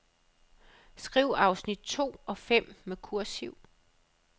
Skriv afsnit to og fem med kursiv.